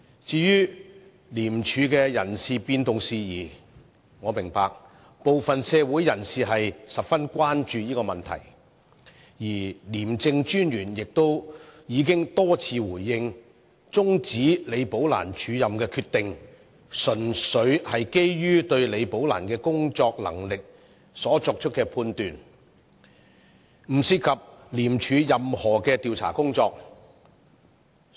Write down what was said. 至於廉署的人事變動事宜，我明白部分社會人士十分關注，而廉政專員亦已多次回應，解釋終止李寶蘭署任安排的決定，純粹是基於對李寶蘭工作能力所作的判斷，並不涉及廉署任何調查工作。